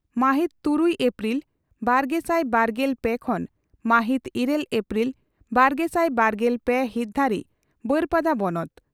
ᱢᱟᱦᱤᱛ ᱛᱨᱩᱭ ᱮᱯᱨᱤᱞ ᱵᱟᱨᱜᱮᱥᱟᱭ ᱵᱟᱨᱜᱮᱞ ᱯᱮ ᱠᱷᱚᱱ ᱢᱟᱦᱤᱛ ᱤᱨᱟᱹᱞ ᱮᱯᱨᱤᱞ ᱵᱟᱨᱜᱮᱥᱟᱭ ᱵᱟᱨᱜᱮᱞ ᱯᱮ ᱦᱤᱛ ᱫᱷᱟᱹᱨᱤᱡ ᱵᱟᱹᱨᱯᱟᱫᱟ ᱵᱚᱱᱚᱛ